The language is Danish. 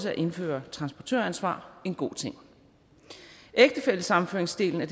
at indføre transportøransvar en god ting ægtefællesammenføringsdelen af